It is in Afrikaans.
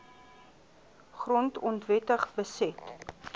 grond onwettig beset